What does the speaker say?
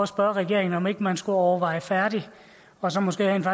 spørge regeringen om ikke man skulle overveje færdigt og så måske rent